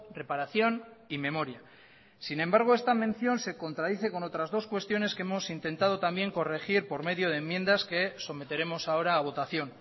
reparación y memoria sin embargo esta mención se contradice con otras dos cuestiones que hemos intentado también corregir por medio de enmiendas que someteremos ahora a votación